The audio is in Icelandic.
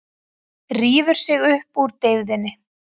Rífur sig upp úr deyfðinni.